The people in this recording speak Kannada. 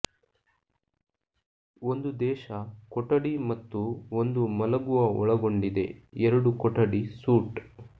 ಒಂದು ದೇಶ ಕೊಠಡಿ ಮತ್ತು ಒಂದು ಮಲಗುವ ಒಳಗೊಂಡಿದೆ ಎರಡು ಕೊಠಡಿ ಸೂಟ್